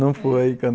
Não foi em Canoa?